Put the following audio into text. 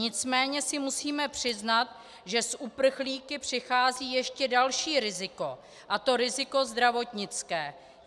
Nicméně si musíme přiznat, že s uprchlíky přichází ještě další riziko, a to riziko zdravotnické.